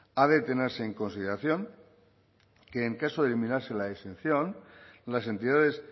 ha de tenerse en consideración que en caso de eliminarse la exención las entidades